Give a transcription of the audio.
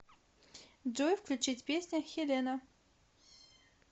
джой включить песня хелена